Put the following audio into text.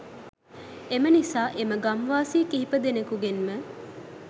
එම නිසා එම ගම් වාසී කීප දෙනෙකුගෙන්ම